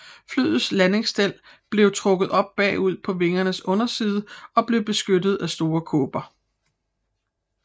Flyets landingsstel blev trukket op bagud på vingernes underside og blev beskyttet af store kåber